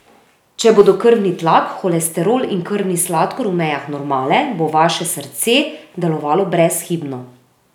Če bodo krvni tlak, holesterol in krvni sladkor v mejah normale, bo vaše srce delovalo brezhibno.